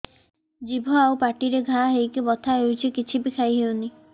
ଜିଭ ଆଉ ପାଟିରେ ଘା ହେଇକି ବଥା ହେଉଛି କିଛି ବି ଖାଇହଉନି